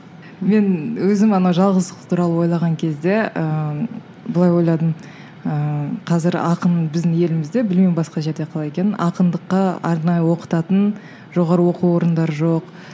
мен өзім анау жалғыздық туралы ойлаған кезде ыыы былай ойладым ыыы қазір ақын біздің елімізде білмеймін басқа жерде қалай екенін ақындыққа арнайы оқытатын жоғары оқу орындары жоқ